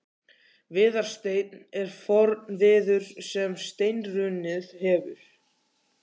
Viðarsteinn er forn viður sem steinrunnið hefur.